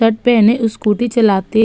shirt पहने scooty चलाते --